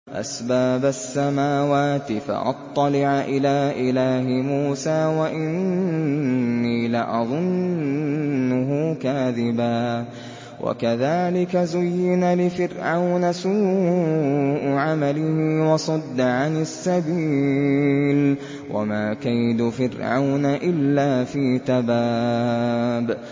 أَسْبَابَ السَّمَاوَاتِ فَأَطَّلِعَ إِلَىٰ إِلَٰهِ مُوسَىٰ وَإِنِّي لَأَظُنُّهُ كَاذِبًا ۚ وَكَذَٰلِكَ زُيِّنَ لِفِرْعَوْنَ سُوءُ عَمَلِهِ وَصُدَّ عَنِ السَّبِيلِ ۚ وَمَا كَيْدُ فِرْعَوْنَ إِلَّا فِي تَبَابٍ